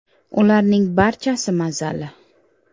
Ularning barchasi mazali.